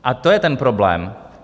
A to je ten problém.